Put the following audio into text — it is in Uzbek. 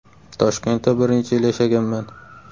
Toshkentda bir necha yil yashaganman.